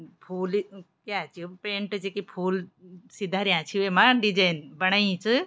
फूल क्या च यो पेंट च की फूल सी धरयां छिं वेमा दिजेंन बणाई च।